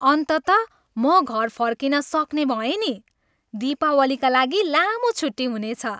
अन्ततः म घर फर्किन सक्ने भएँ नि। दीपावलीका लागि लामो छुट्टी हुनेछ।